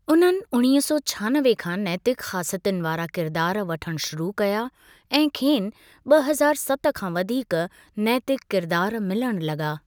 उन्हनि उणिवीह सौ छहानवे खां नैतिक़ ख़ासियतुनि वारा किरदारु वठणु शुरू कया ऐं खेनि ॿ हज़ार सत खां वधीक नैतिक़ किरदारु मिलणु लगा॒।